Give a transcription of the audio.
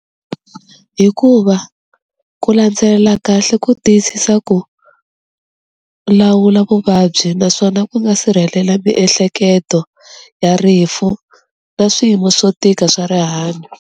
Hikuva ku landzelela kahle ku tiyisisa ku lawula vuvabyi naswona ku nga sirhelela miehleketo ya rifu na swiyimo swo tika swa rihanyo.